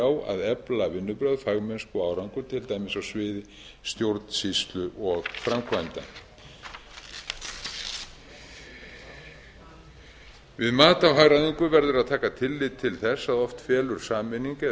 á að efla vinnubrögð fagmennsku og árangur til dæmis á sviði stjórnsýslu og framkvæmda við mat á hagræðingu verður að taka tillit til þess að oft felur sameining eða